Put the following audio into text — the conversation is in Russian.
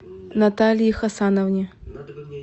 наталии хасановне